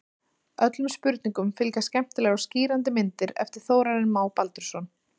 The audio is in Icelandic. Öllum spurningum fylgja skemmtilegar og skýrandi myndir eftir Þórarinn Má Baldursson.